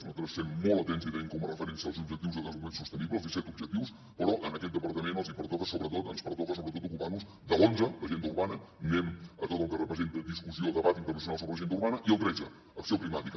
nos altres estem molt atents i tenim com a referència els objectius de desenvolupament sostenible els disset objectius però en aquest departament ens pertoca sobretot ocupar nos de l’onze l’agenda urbana anem a tot el que representa discussió debat internacional sobre l’agenda urbana i el tretze acció climàtica